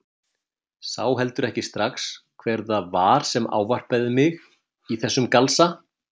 Sá heldur ekki strax hver það var sem ávarpaði mig í þessum galsa.